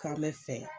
K'an bɛ fɛ